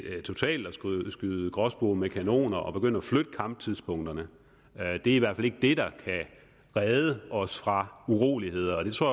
at skyde gråspurve med kanoner at begynde at flytte kamptidspunkterne at det i hvert fald ikke er det der kan redde os fra uroligheder og det tror